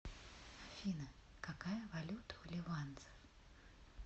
афина какая валюта у ливанцев